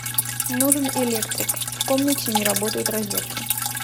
нужен электрик в комнате не работают розетки